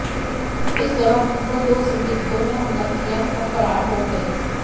इस दौरान उनपर दो संदिग्धों ने हमला किया और फरार हो गए